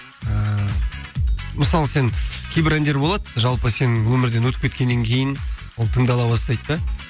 ыыы мысалы сен кейбір әндер болады жалпы сен өмірден өтіп кеткеннен кейін ол тыңдала бастайды да